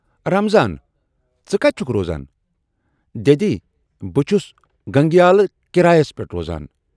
"رمضان""ژٕ کتہِ چھُکھ روزان؟ ""دٮ۪دی بہٕ چھُس گنگیالہٕ کرایَس پٮ۪ٹھ روزان"۔